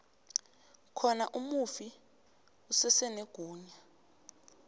khona umufi usesenegunya